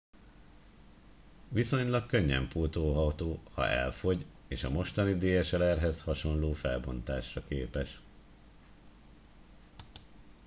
viszonylag könnyen pótolható ha elfogy és a mostani dslr hez hasonló felbontásra képes